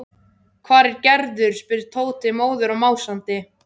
Hvar er Gerður? spurði Tóti, móður og másandi.